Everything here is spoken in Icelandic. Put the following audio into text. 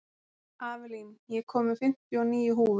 Avelin, ég kom með fimmtíu og níu húfur!